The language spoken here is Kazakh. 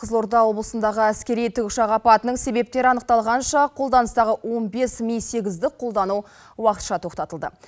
қызылорда облысындағы әскери тікұшақ апатының себептері анықталғанша қолданыстағы он бес ми сегізді қолдану уақытша тоқтатылды